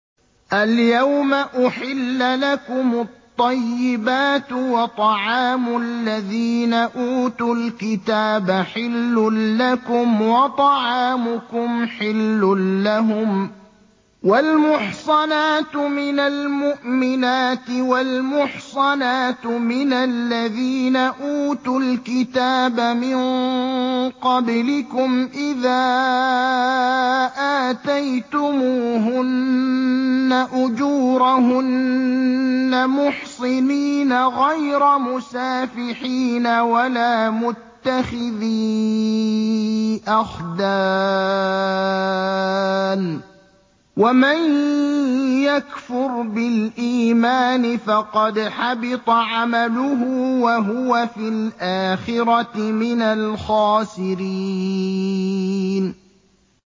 الْيَوْمَ أُحِلَّ لَكُمُ الطَّيِّبَاتُ ۖ وَطَعَامُ الَّذِينَ أُوتُوا الْكِتَابَ حِلٌّ لَّكُمْ وَطَعَامُكُمْ حِلٌّ لَّهُمْ ۖ وَالْمُحْصَنَاتُ مِنَ الْمُؤْمِنَاتِ وَالْمُحْصَنَاتُ مِنَ الَّذِينَ أُوتُوا الْكِتَابَ مِن قَبْلِكُمْ إِذَا آتَيْتُمُوهُنَّ أُجُورَهُنَّ مُحْصِنِينَ غَيْرَ مُسَافِحِينَ وَلَا مُتَّخِذِي أَخْدَانٍ ۗ وَمَن يَكْفُرْ بِالْإِيمَانِ فَقَدْ حَبِطَ عَمَلُهُ وَهُوَ فِي الْآخِرَةِ مِنَ الْخَاسِرِينَ